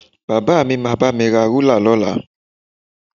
Bàbá mi máa bá mi ra rúlà lọ́la